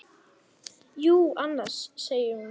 Jú, annars, segir hún.